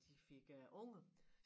De fik øh unger